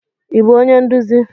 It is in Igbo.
Ị bụ onye nduzi?